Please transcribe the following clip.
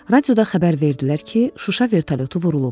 Radioda xəbər verdilər ki, Şuşa vertolyotu vurulub.